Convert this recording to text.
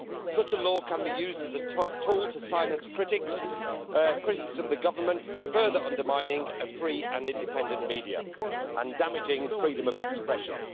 Such a law can be used as a tool to silence critics of the Government, further undermining a free and independent media and damaging freedom of expression.